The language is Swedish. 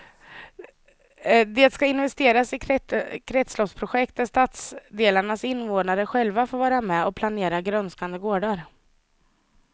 Det ska investeras i kretsloppsprojekt där stadsdelarnas invånare själva får vara med och planera grönskande gårdar.